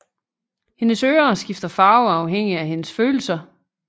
Hendes ører skifter farve afhængig af hendes følelser